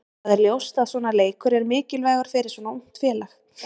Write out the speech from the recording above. Það er ljóst að svona leikur er mikilvægur fyrir svona ungt félag.